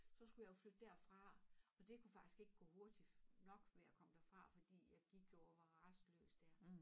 Så skulle jeg jo flytte derfra og det kunne faktisk ikke gå hurtigt nok med at komme derfra fordi jeg gik jo og var rastløs dér